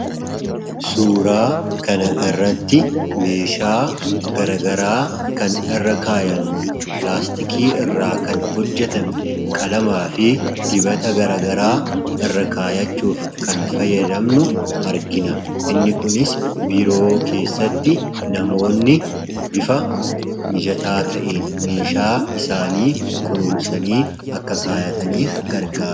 Suuraa kana irratti meeshaa garagaraa kan irra kaayannu pilaastikii irraa kan hojjetame qalamaa fi dibata garagaraa irra kaayachuuf kan fayyadamnu argina. Inni kunis biiroo keessatti namoonni bifa mijataa ta'een meeshaa isaanii kunuunsanii akka kaayataniif gargaara.